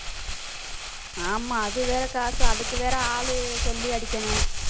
ஆமா அது வேற காசு அதுக்கு வேற ஆளு சொல்லி அடிக்கணும்.